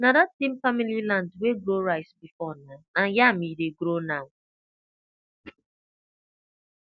na that same family land wey grow rice before na na yam e dey grow now